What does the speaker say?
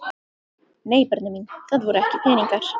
Nei börnin mín, það voru ekki peningar.